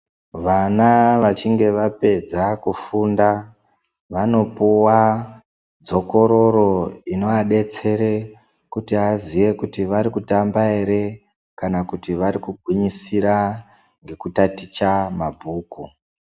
Vana vachinge vapedza kufunda vanopuwa dzokororo inoadetsere kuti aziye kuti vari kutamba ere kana vari kugwinyisira nekutaticha mabhuku.